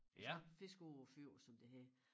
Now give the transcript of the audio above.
Sådan fisker ude på æ fjord som det hedder